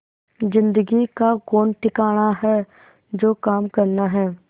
जिंदगी का कौन ठिकाना है जो काम करना है